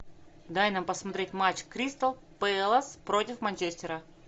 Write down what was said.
дай нам посмотреть матч кристал пэлас против манчестера